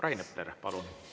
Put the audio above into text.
Rain Epler, palun!